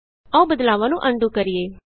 ਆਉ ਬਦਲਾਵਾਂ ਨੂੰ ਅਨਡੂ ਕਰੀਏ